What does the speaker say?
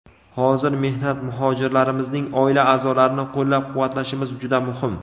hozir – mehnat muhojirlarimizning oila a’zolarini qo‘llab-quvvatlashimiz juda muhim.